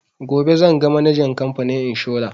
Gobe zan ga manajan kamfanin inshora